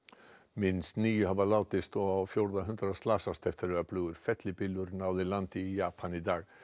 minnst níu hafa látist og á fjórða hundrað slasast eftir að öflugur fellibylur náði landi í Japan í dag